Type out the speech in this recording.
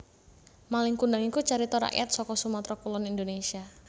Malin Kundang iku carita rakyat saka Sumatra Kulon Indonésia